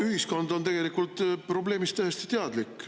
Ühiskond on tegelikult probleemist täiesti teadlik.